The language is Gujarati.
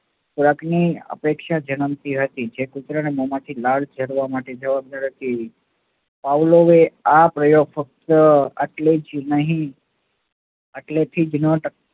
ખોરાકની અપેક્ષા જન્મતી હતી જે કુતરાના મોમાંથી લાળ ઝરવા માટે જવાબદાર હતી. પાઉલોએ આ પ્રયોગ ફક્ત આટલું જ નહી આટલેથી જ